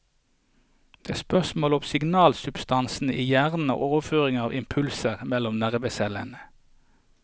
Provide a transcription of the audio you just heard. Det er spørsmål om signalsubstansene i hjernen og overføring av impulser mellom nervecellene.